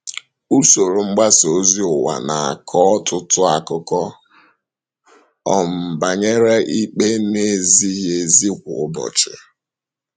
Usoro mgbasa ozi ụwa na - akọ ọtụtụ akụkọ um banyere ikpe na - ezighị ezi kwa ụbọchị.